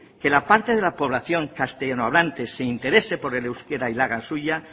que la parte de la población castellanohablante se interese por el euskara y la haga suya